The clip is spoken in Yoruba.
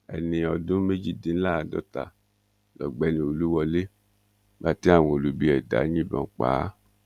ẹni ọdún méjìdínláàádọta lọ̀gbẹ́ni olúwọlé nígbà tí àwọn olubi ẹ̀dá yìnbọn pa á